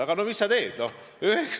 Aga no mis sa teed?